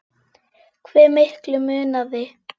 Hve miklu munaði?